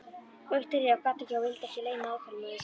Viktoría gat ekki og vildi ekki leyna óþolinmæði sinni.